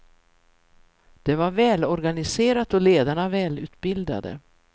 Det var välorganiserat och ledarna välutbildade.